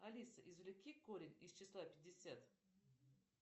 алиса извлеки корень из числа пятьдесят